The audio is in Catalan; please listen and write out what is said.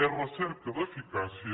és recerca d’eficàcia